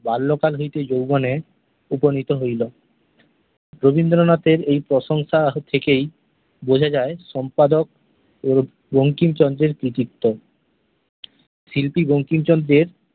বাল্যকাল হইতে যৌবনে উপনীত হইলো । রবীন্দ্রনাথের এই আহ প্রশংসা থেকেই বোঝা যায়, সম্পাদক উম বঙ্কিমচন্দ্রের কৃতিত্ব । শিল্পী বঙ্কিমচন্দ্রের